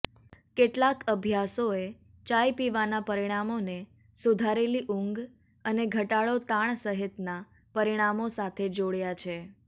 કેટલાંક અભ્યાસોએ ચાઇ પીવાના પરિણામોને સુધારેલી ઊંઘ અને ઘટાડો તાણ સહિતના પરિણામો સાથે જોડ્યા છે